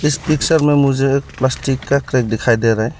Picture में मुझे plastic दिखाई दे रहा है।